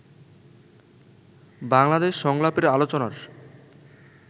বাংলাদেশ সংলাপের আলোচনার